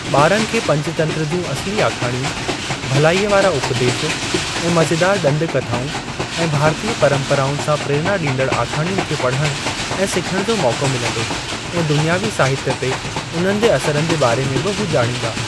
ॿारनि खे पंचतंत्र जूं असली आखाणियूं, भलाईअ वारा उपदेश ऐं मज़ेदार ॾंद कथाऊं ऐं भारतीय परम्पराउनि सां प्रेरणा ॾींदड़ आखाणियुनि खे पढ़ण ऐं सिखण जो मौको मिलंदो ऐं दुनियवी साहित्य ते उन्हनि जे असरनि जे बारे में बि हू ॼाणींदा।